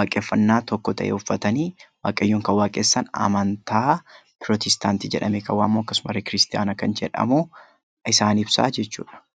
waaqeffannaa tokko ta'e uffatanii Waaqayyoon kan waaqessan, amantaa Pirootestaantii jedhamee kan waamamu akkasumarree kiristaana kan jedhamu isaan ibsaa jechuudha.